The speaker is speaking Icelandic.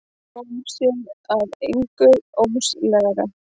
Fór sér að engu óðslega.